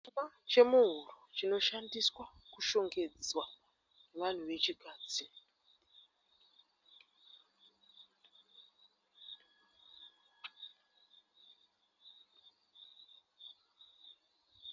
Chuma chemuhuro chinoshandiswa kushongedza vanhu vechikadzi.